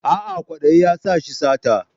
A'a kwadayi ya sa shi sata